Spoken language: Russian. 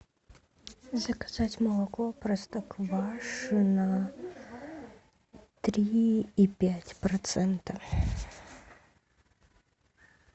заказать молоко простоквашино три и пять процента